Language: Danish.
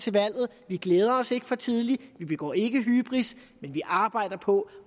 valget vi glæder os ikke for tidligt vi begår ikke hybris men vi arbejder på